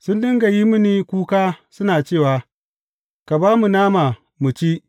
Sun dinga yin mini kuka suna cewa Ka ba mu nama mu ci!’